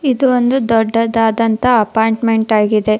ಇದು ಒಂದು ದೊಡ್ಡದಾದಂತ ಅಪಾರ್ಟ್ಮೆಂಟ್ ಆಗಿದೆ.